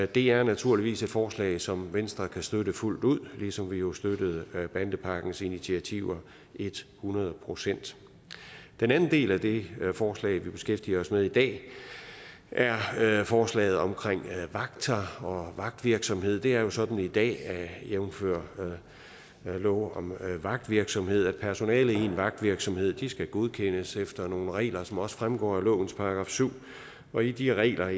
det er naturligvis et forslag som venstre kan støtte fuldt ud ligesom vi jo støttede bandepakkens initiativer et hundrede procent den anden del af det forslag vi beskæftiger os med i dag er forslaget om vagter og vagtvirksomhed det er jo sådan i dag jævnfør lov om vagtvirksomhed at personalet i en vagtvirksomhed skal godkendes efter nogle regler som også fremgår af lovens § syv og i de regler